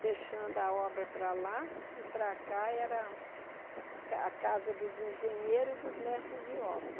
fechando a obra para lá e para cá era ca a casa dos engenheiros e dos mestres de obra.